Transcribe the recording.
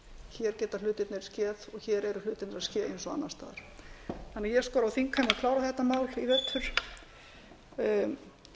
hér geta hlutirnir skeð og hér eru hlutirnir að ske eins og annars staðar ég skora á þingheim að klára þetta mál í